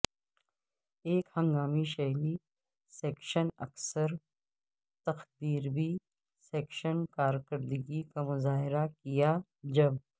ایک ہنگامی شلی سیکشن اکثر تخدیربی سیکشن کارکردگی کا مظاہرہ کیا جب